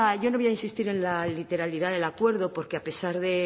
yo no voy a insistir en la literalidad del acuerdo porque a pesar de